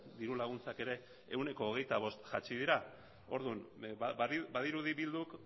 diru laguntzak ere ehuneko hogeita bost jaitsi dira orduan badirudi bilduk